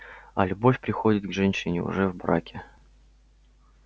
а любовь приходит к женщине уже в браке